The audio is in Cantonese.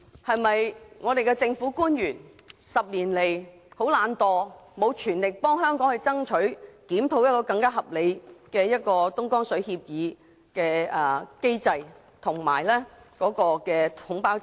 本港政府官員過去10年來有否躲懶，未盡全力替香港爭取更合理的東江水協議機制，以按量收費取代統包制？